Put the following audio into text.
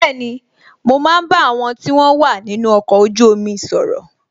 Bẹẹni, mo ń bá àwọn tí wọn wà nínú ọkọ̀ ojú omi sọ̀rọ̀